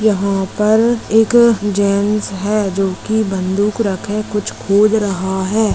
यहा पर एक जेन्टस है जो की बंदूक रखे कुछ खोज़ रहा है।